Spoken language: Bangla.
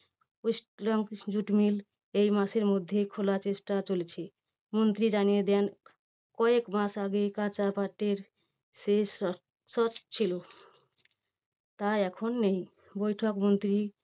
ওয়েস্টগ্রাম jute mill এই মাসের মধ্যেই খোলার চেষ্টা চলছে। মন্ত্রী জানিয়ে দেন কয়েক মাস আগে কাঁচাপাটের শেষ ছিল। তা এখন নেই বৈঠক মন্ত্রী